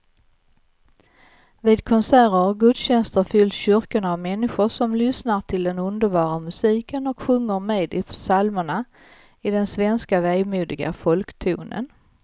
Vid konserter och gudstjänster fylls kyrkorna av människor som lyssnar till den underbara musiken och sjunger med i psalmerna i den svenska vemodiga folktonen.